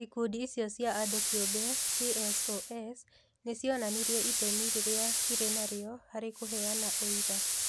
Ikundi icio cia andũ kĩũmbe (CSOs) nĩ cionanirie itemi rĩrĩa irĩ narĩo harĩ kũheana ũira.